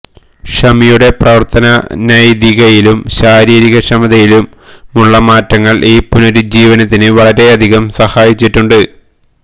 ഷമിയുടെ പ്രവര്ത്തന നൈതികതയിലും ശാരീരികക്ഷമതയിലുമുള്ള മാറ്റങ്ങള് ഈ പുനരുജ്ജീവനത്തിന് വളരെയധികം സഹായിച്ചിട്ടുണ്ട്